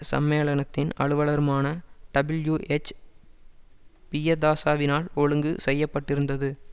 சம்மேளனத்தின் அலுவலருமான டபிள்யூஎச் பியதாசாவினால் ஒழுங்கு செய்ய பட்டிருந்தது